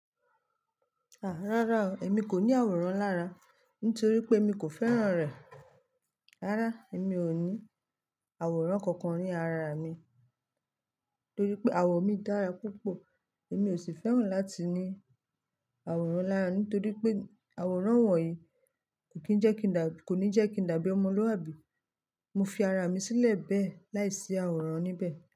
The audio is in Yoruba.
Àá, rárá o, èmi kò ní àwòrán lára nítorí pé èmi kò fẹ́ràn rẹ̀. Rárá, èmi ò ní àwòrán kankan ní ara mi torí pé àwọ̀ mí dára púpọ̀ èmi ò sì fẹ́ràn láti ní àwòrán lára nítorí pé àwòrán wọ̀nyí kò ní jẹ́ kí n dábí ọmọlúàbí Mo fi ara mi sílẹ̀ bẹ́ẹ̀ láìsí àwòrán níbẹ̀